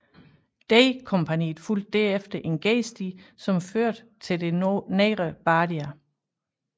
D kompagniet fulgte herefter en gedesti som førte til det nedre Bardia